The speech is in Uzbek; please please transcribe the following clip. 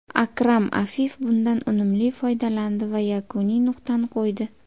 Akram Afif bundan unumli foydalandi va yakuniy nuqtani qo‘ydi.